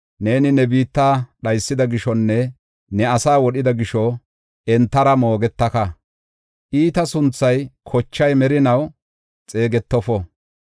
Neeni ne biitta dhaysida gishonne ne asaa wodhida gisho entara moogetaka. Iitaa sunthay kochay merinaw xeegetofo.